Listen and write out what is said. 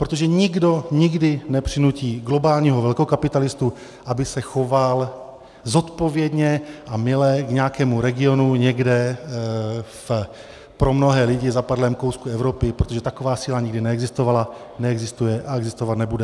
Protože nikdo nikdy nepřinutí globálního velkokapitalistu, aby se choval zodpovědně a mile k nějakému regionu někde v pro mnohé lidi zapadlém kousku Evropy, protože taková síla nikdy neexistovala, neexistuje a existovat nebude.